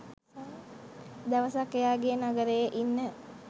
දවසක් එයාගෙ නගරෙ ඉන්න